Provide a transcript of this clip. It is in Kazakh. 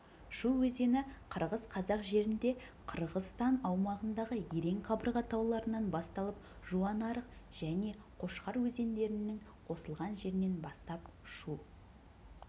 шу өзені қырғыз-қазақ жерінде қырғызстан аумағындағы ерен қабырға тауларынан басталып жуанарық және қошқар өзендерінің қосылған жерінен бастап шу